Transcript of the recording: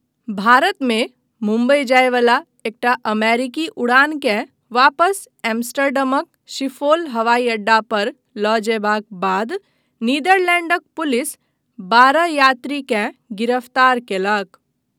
भारतमे मुंबई जायवला एकटा अमेरिकी उड़ानकेँ वापस एम्स्टर्डमक शिफोल हवाई अड्डा पर लऽ जयबाक बाद नीदरलैंडक पुलिस बारह यात्रीकेँ गिरफ्तार कयलक।